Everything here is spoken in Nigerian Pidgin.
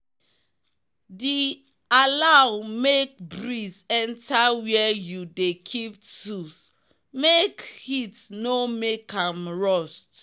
the allow make breeze enter where you dey keep tools make heat no make am rust